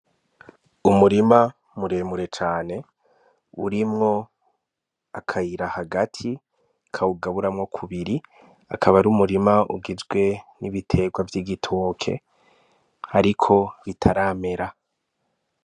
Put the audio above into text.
Umurima muremure cane urimwo akayira hagati kawugaburamwo kubiri akaba ari umurima ugizwe n'ibiterwa vy'igitoke ariko bitaramera.